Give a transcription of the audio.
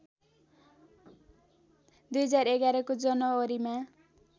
२०११ को जनवरीमा